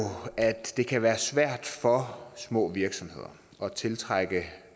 at det kan være svært for små virksomheder at tiltrække